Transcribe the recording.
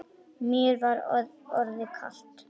Mér var orðið kalt.